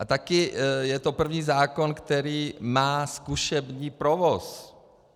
A taky je to první zákon, který má zkušební provoz.